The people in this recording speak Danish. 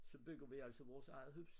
Så bygger vi altså vores eget hus